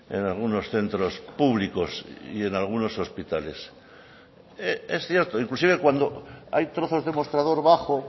en algunos centros públicos y en algunos hospitales es cierto inclusive cuando hay trozos de mostrador bajo